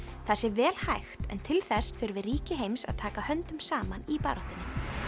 það sé vel hægt en til þess þurfi ríki heims að taka höndum saman í baráttunni